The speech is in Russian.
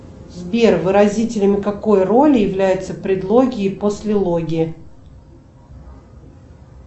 сбер выразителями какой роли являются предлоги и послелоги